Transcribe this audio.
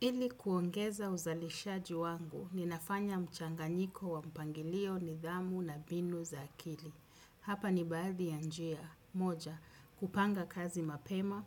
Ili kuongeza uzalishaji wangu, ninafanya mchanganyiko wa mpangilio nidhamu na binu za akili. Hapa ni baadhi ya njia. Moja, kupanga kazi mapema,